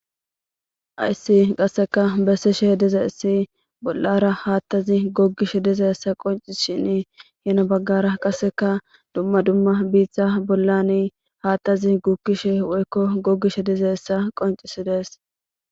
Haysi qaseka besishe dizaysi bolara gatazi gogishe dizaysa qonc'sishin hini bagara qaseka duma duma bita bolan gatazi gukishe woyko gogishe dizaysa qonc'isides.